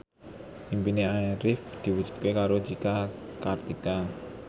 impine Arif diwujudke karo Cika Kartika